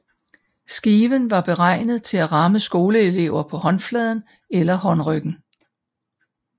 Skiven var beregnet på at ramme skoleelever på håndfladen eller håndryggen